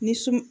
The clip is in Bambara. Ni sun